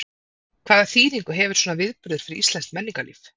Hvaða þýðingu hefur svona viðburður fyrir íslenskt menningarlíf?